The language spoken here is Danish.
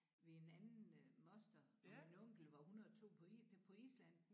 Ved en anden øh moster og min onkel var 102 på på Island